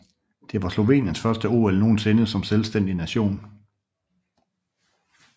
Det var Sloveniens første OL nogensinde som selvstændig nation